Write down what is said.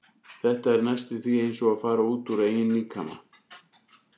Þetta er næstum því eins og að fara út úr eigin líkama.